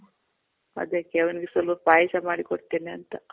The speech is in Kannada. ಅದಕ್ಕೆ ಅವನ್ಗೆ ಸ್ವಲ್ಪ ಪಾಯ್ಸ ಮಾಡಿ ಕೊಡ್ತೀನಿ ಅಂತ.